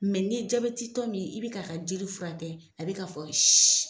ni ye jabeti tɔ min yi i bɛ k'a ka jeli fura kɛ a bɛ k'a fɔ si